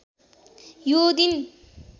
यो दिन